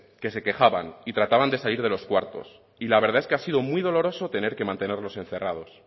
que se quejaban y trataban de salir de los cuartos y la verdad es que ha sido muy doloroso tener que mantenerlos encerrados